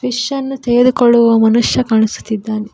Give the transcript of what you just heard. Fish ಅನ್ನು ತೆಗೆದುಕೊಳ್ಳುವ ಮನುಷ್ಯ ಕಾಣಿಸುತ್ತಿದ್ದಾನೆ.